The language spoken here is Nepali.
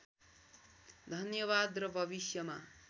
धन्यवाद र भविष्यमा